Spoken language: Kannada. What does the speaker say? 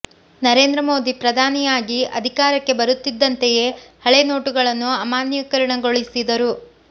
ನರೇಂದ್ರ ಮೋದಿ ಪ್ರಧಾನಿಯಾಗಿ ಅಧಿ ಕಾರಕ್ಕೆ ಬರುತ್ತಿದ್ದಂತೆಯೇ ಹಳೇ ನೊಟು ಗಳನ್ನು ಅಮಾನ್ಯೀಕರಣಗೊಳಿಸಿದರು